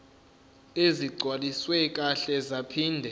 ezigcwaliswe kahle zaphinde